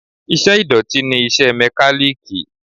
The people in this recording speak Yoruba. Iṣẹ́ ìdọ̀tí ni iṣẹ́ Mẹ́kálíkì.